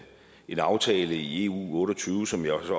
en aftale i eu otte og tyve som jeg